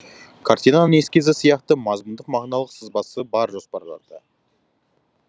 картинаның эскизі сияқты мазмұндық мағыналық сызбасы бар жоспарда